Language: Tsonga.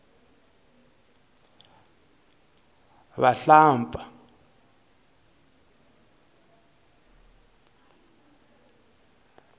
vuhlampfa